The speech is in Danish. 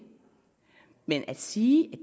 men at sige